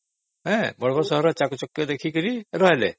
ବଡ ବଡ ସହରରେ ଚାକଚକ୍ୟ ଦେଖିକି ରହିଲେ